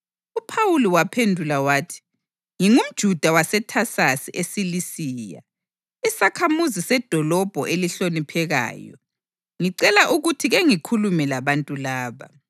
UPhawuli waphendula wathi, “NgingumJuda waseThasasi eSilisiya, isakhamuzi sedolobho elihloniphekayo. Ngicela ukuthi kengikhulume labantu laba.”